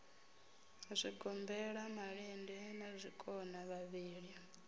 zwigombela malende na zwikona vhavhili